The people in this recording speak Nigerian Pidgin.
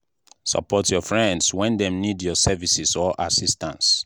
support your friends when dem need your services or assistance